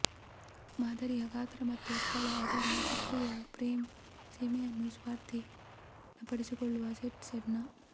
ಮಾದರಿಯ ಗಾತ್ರ ಮತ್ತು ಸ್ಥಳ ಅದರ ಸಕ್ರಿಯ ಫ್ರೇಮ್ ಸೀಮೆಯನ್ನು ಸ್ವಾಧೀನಪಡಿಸಿಕೊಂಡು ಸೆಟ್ ಸ್ಲೈಡ್ನ